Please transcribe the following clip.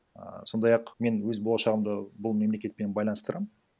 а сондай ақ мен өз болашағымды бұл мемлекетпен байланыстырамын